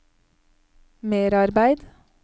merarbeid